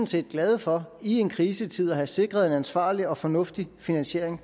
set glade for i en krisetid at have sikret en ansvarlig og fornuftig finansiering